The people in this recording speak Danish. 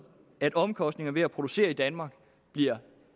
at omkostningerne ved at producere i danmark bliver